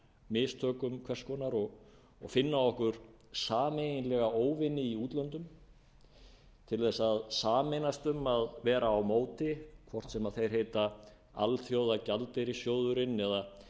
mistökum hvers konar og finna okkur sameiginlega óvini í útlöndum til að sameinast um að vera á móti hvort sem þeir heita alþjóðagjaldeyrissjóðurinn eða